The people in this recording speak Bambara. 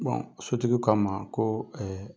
sotigiw k'a ma koo